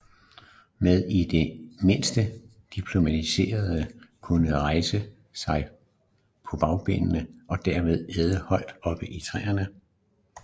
Men i det mindste diplodociderne kunne rejse sig på bagbenene og dermed æde højt oppe i træerne